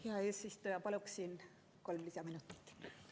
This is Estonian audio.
Hea eesistuja, paluksin kolm lisaminutit!